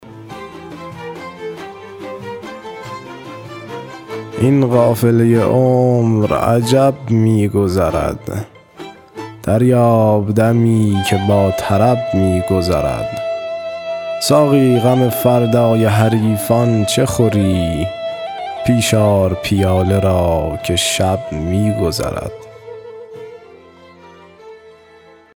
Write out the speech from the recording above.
این قافله عمر عجب می گذرد دریاب دمی که با طرب می گذرد ساقی غم فردای حریفان چه خوری پیش آر پیاله را که شب می گذرد